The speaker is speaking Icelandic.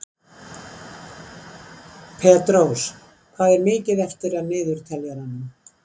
Petrós, hvað er mikið eftir af niðurteljaranum?